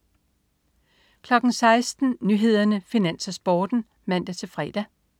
16.00 Nyhederne, Finans, Sporten (man-fre)